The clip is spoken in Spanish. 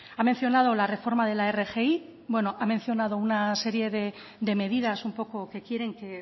ha mencionado la reforma de la rgi bueno ha mencionado una serie de medidas un poco que quieren